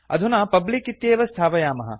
अधुना पब्लिक इत्येव स्थापयामः